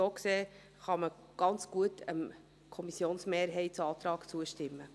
So gesehen, kann man ganz gut dem Kommissionsmehrheitsantrag zustimmen.